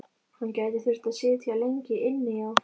Hann gæti þurft að sitja lengi inni, já.